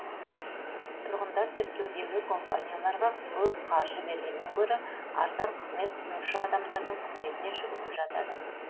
тұрғындар тіркеудегі компанияларға көп қаржы бергеннен гөрі арзан қызмет ұсынушы адамдардың қызметіне жүгініп жатады